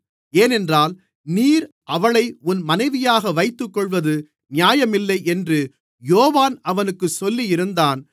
ஏனென்றால் நீர் அவளை உன் மனைவியாக வைத்துக்கொள்வது நியாயமில்லை என்று யோவான் அவனுக்குச் சொல்லியிருந்தான்